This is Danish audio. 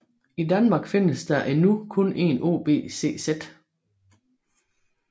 I Danmark findes der endnu kun en OBCZ